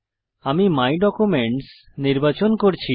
আমি my documents নির্বাচন করছি